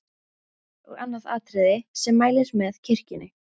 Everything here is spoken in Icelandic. Þá er og annað atriði, sem mælir með kirkjunni.